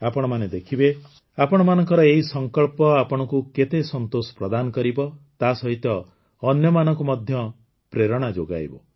ଆପଣମାନେ ଦେଖିବେ ଆପଣଙ୍କର ଏହି ସଂକଳ୍ପ ଆପଣଙ୍କୁ କେତେ ସନ୍ତୋଷ ପ୍ରଦାନ କରିବ ତାସହିତ ଅନ୍ୟମାନଙ୍କୁ ମଧ୍ୟ ପ୍ରେରଣା ଯୋଗାଇବ